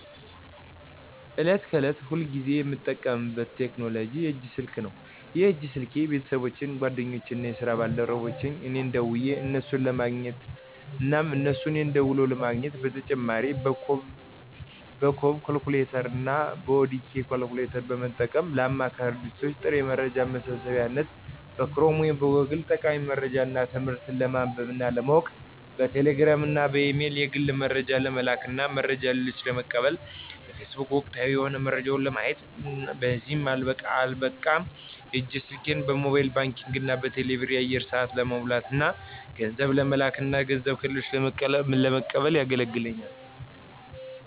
ዕለት ከዕለት ሁልጊዜ የምጠቀምበት ቴክኖሎጂ የእጅ ስልክ ነው። ይህ የእጅ ስልኬ ቤተሰቦቼን፣ ጓደኞቼን እና የስራ ባልደረቦቼን እኔ ደውየ እነሱን ለማግኘት እና እነሱም እኔን ደውለው ለማግኘት። በተጨማሪ በኮቦ ኮሌክተር እና በኦዲኬ ኮሌክተር በመጠቀም ለአማካሪ ድርጅቶች ጥሬ መረጃ መሰብሰቢያነት፣ በክሮም ወይም ጎግል ጠቃሚ መረጃዎች እና ትምህርቶች ለማንበብ እና ለማወቅ፣ በቴሌ ግራም እና በኢሜል የግል መረጃ ለመላክ እና መረጃ ከሌሎች ለመቀበል እና በፌስቡክ ወቅታዊ የሆኑ መረጃዎች ለማየት። በዚህም አልበቃ የእጅ ስልኬ በሞባይል ባንኪንግ እና በቴሌ ብር የአየር ሰአት ለመሙላት እና ገንዘብ ለመለክ እና ገንዘብ ከሌሎች ለመቀበል የገለግለኛል።